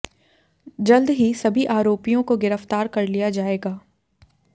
जल्द ही सभी आरोपियों को गिरफ्तार कर लिया जायेगा